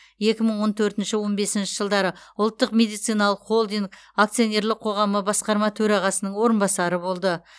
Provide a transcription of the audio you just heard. екі мың он төртінші он бесінші жылдары ұлттық медициналық холдинг акционерлік қоғамы басқарма төрағасының орынбасары болды